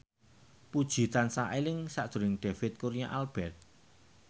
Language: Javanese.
Puji tansah eling sakjroning David Kurnia Albert